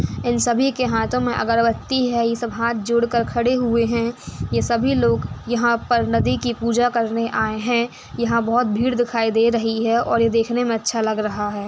इन सभी के हाथों मे अगरबत्ती है ये सब हाँथ जोड़कर के खड़े हुए है ये सभी लोग यंहा पर नदी कि पूजा करने आए है यंहा बहोत भीड़ दिखाई दे रही है और ये देखने मे अच्छा लग रहा है।